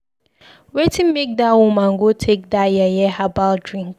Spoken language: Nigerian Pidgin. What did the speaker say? Wetin make dat woman go take that yeye herbal drink?